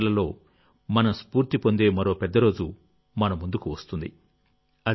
December నెలలోమనం స్ఫూర్తి పొందే మరో పెద్ద రోజు మన ముందుకు వస్తుంది